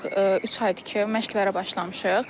Artıq üç aydır ki, məşqlərə başlamışıq.